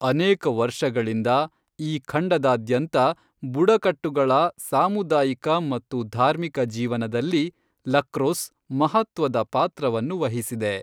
ಅನೇಕ ವರ್ಷಗಳಿಂದ ಈ ಖಂಡದಾದ್ಯಂತ ಬುಡಕಟ್ಟುಗಳ ಸಾಮುದಾಯಿಕ ಮತ್ತು ಧಾರ್ಮಿಕ ಜೀವನದಲ್ಲಿ ಲಕ್ರೊಸ್ಸ್ ಮಹತ್ವದ ಪಾತ್ರವನ್ನು ವಹಿಸಿದೆ.